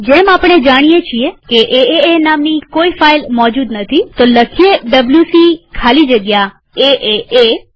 જેમ આપણે જાણીએ છીએ કે એએ નામની કોઈ ફાઈલ મોજુદ નથીwc ખાલી જગ્યા એએ લખીએ